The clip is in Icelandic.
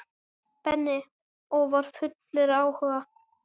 Benni og var fullur áhuga.